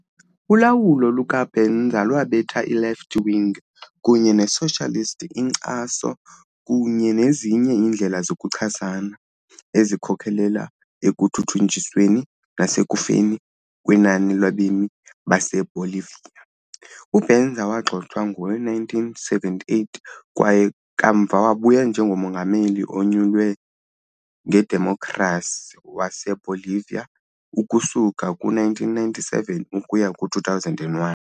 Ulawulo luka-Banzer lwabetha i-left-wing kunye ne-socialist inkcaso kunye nezinye iindlela zokuchasana, ezikhokelela ekuthuthunjisweni nasekufeni kwenani labemi baseBolivia. UBanzer wagxothwa ngo-1978 kwaye kamva wabuya njengomongameli onyulwe ngedemokhrasi waseBolivia ukusuka kwi-1997 ukuya kwi-2001.